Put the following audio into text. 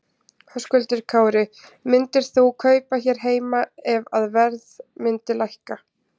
Höskuldur Kári: Myndir þú kaupa hér heima ef að verð myndi lækka?